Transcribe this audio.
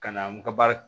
Ka na n ka baara